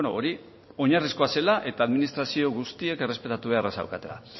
hori oinarrizkoa zela eta administrazio guztiek errespetatu beharra zeukatela